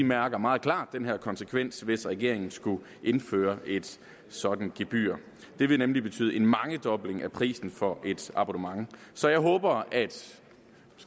mærker meget klart den her konsekvens hvis regeringen skulle indføre et sådant gebyr det ville nemlig betyde en mangedobling af prisen for et abonnement så jeg håber at